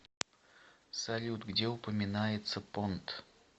салют где упоминается понт